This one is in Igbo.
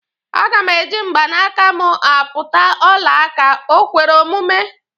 Aga m eji mgbanaka m akpụta ọla aka, o kwere omume?